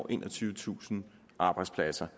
enogtyvetusind arbejdspladser